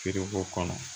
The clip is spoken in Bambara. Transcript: Feere b'o kɔnɔ